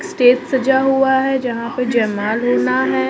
Stage सजा हुआ है जहां पे जयमाल होना है।